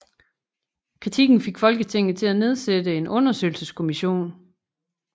Kritikken fik Folketinget til at nedsætte en undersøgelseskommission